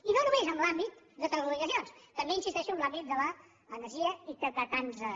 i no només en l’àmbit de telecomunicacions també hi in·sisteixo en l’àmbit de l’energia i de tants altres